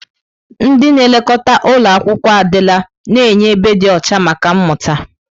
Ndị na-elekọta ụlọ akwụkwọ adịla na-enye ebe dị ọcha maka mmụta.